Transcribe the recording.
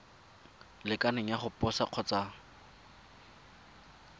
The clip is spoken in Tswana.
lekaneng ya go posa kgotsa